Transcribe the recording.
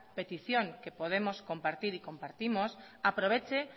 petición que podemos compartir y compartimos aproveche